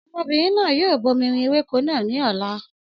Ọmọbìnrin náà yóò bomirin ewéko náà ní ọ̀la